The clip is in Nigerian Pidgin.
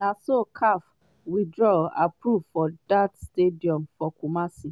na so caf withdraw approval for dat stadium for kumasi.